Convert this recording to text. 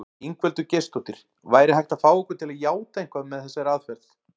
Ingveldur Geirsdóttir: Væri hægt að fá ykkur til játa eitthvað með þessari aðferð?